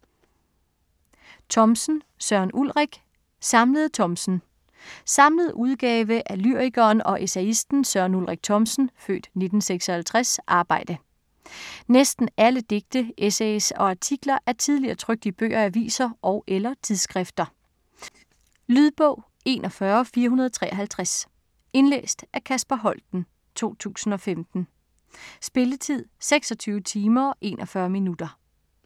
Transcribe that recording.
Thomsen, Søren Ulrik: Samlede Thomsen Samlet udgave af lyrikeren og essayisten Søren Ulrik Thomsens (f. 1956) arbejde. Næsten alle digte, essays og artikler er tidligere trykt i bøger, aviser og/eller tidsskrifter. Lydbog 41453 Indlæst af Kasper Holten, 2015. Spilletid: 26 timer, 41 minutter.